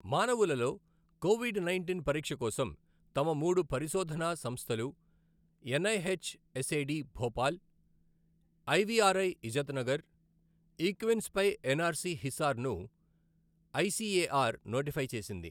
మానవులలో COVID nineteen పరీక్ష కోసం తమ మూడు పరిశోధనా సంస్థలు ఎన్ఐహెచ్ఎస్ఏడి భోపాల్, ఐవిఆర్ఐ ఇజత్నగర్, ఈక్విన్స్పై ఎన్ఆర్సి హిసార్ ను ఐసిఎఆర్ నోటిఫై చేసింది.